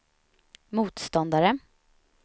motståndare